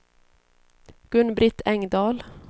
Gun-Britt Engdahl